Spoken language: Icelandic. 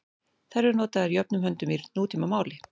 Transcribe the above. Þær eru notaðar jöfnum höndum í nútímamáli.